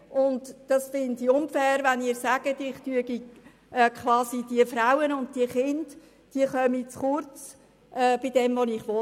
Ich finde es unfair, wenn Sie sagen, diese Frauen und Kinder kämen zu kurz bei dem, was ich will.